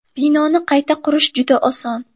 Binoni qayta qurish juda oson!